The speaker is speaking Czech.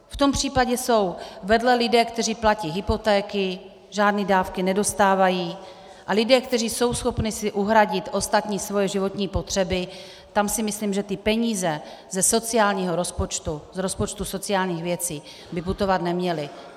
V tom případě jsou vedle lidé, kteří platí hypotéky, žádné dávky nedostávají, a lidé, kteří jsou schopni si uhradit ostatní svoje životní potřeby, tam si myslím, že ty peníze ze sociálního rozpočtu, z rozpočtu sociálních věcí by putovat neměly.